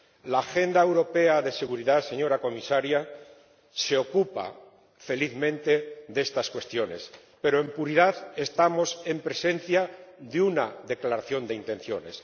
La Agenda Europea de Seguridad, señora Comisaria, se ocupa felizmente de estas cuestiones, pero, en puridad, estamos en presencia de una declaración de intenciones.